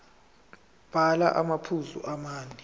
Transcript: bhala amaphuzu amane